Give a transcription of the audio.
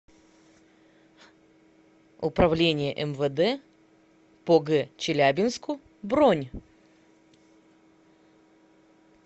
управление мвд по г челябинску бронь